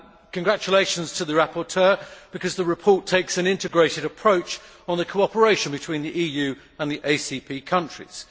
Congratulations to the rapporteur because the report takes an integrated approach on the cooperation between the EU and the ACP countries.